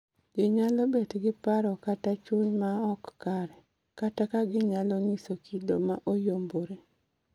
Ji nyalo bet gi paro kata chuny ma ok kare, kata ginyalo nyiso kido ma oyombore